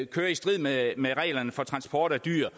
kører i strid med reglerne for transport af dyr